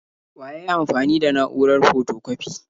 Wa yayi amfani da na'urar fotokwafi?